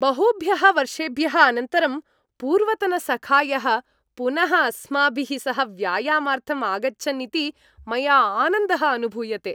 बहुभ्यः वर्षेभ्यः अनन्तरं पूर्वतनसखायः पुनः अस्माभिः सह व्यायामार्थं आगच्छन् इति मया आनन्दः अनुभूयते।